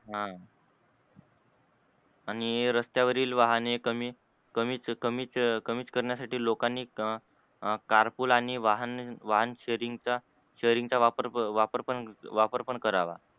ह आणि रस्त्यावरील वाहने कमी कमीच कमीच कमीच करण्यासाठी लोकांनी car pull आणि वाहन shareing चा shareing चा वापर पण वापर पण करावा.